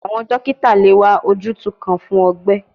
Awọn dokita le wa ojutu kan fun ọgbẹ